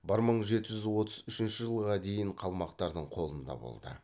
бір мың жеті жүз отыз үшінші жылға дейін қалмақтардың қолында болды